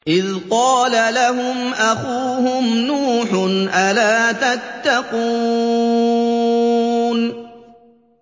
إِذْ قَالَ لَهُمْ أَخُوهُمْ نُوحٌ أَلَا تَتَّقُونَ